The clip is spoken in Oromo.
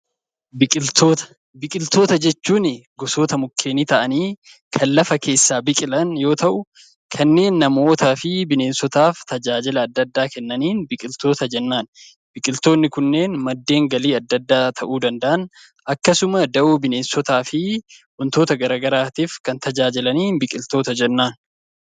Biqiltoota Biqiltoota jechuun gosoota mukeenii ta'anii kan lafa keessaa biqilan yoo ta'u, kanneen namootaa fi bineensotaaf tajaajiltoota adda addaa kennaniin 'Biqiltoota' jennaan. Biqiltoonni kunneen madda galiiwwan adda addaa ta'uu danda'an, akkasuma dawoo binneensotaa fi wantoota gara garaatiif kan tajaajilaniin 'Biqiltoota' jennaan.